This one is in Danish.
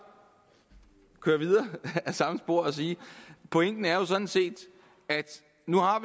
køre videre ad samme spor og sige pointen er sådan set at nu har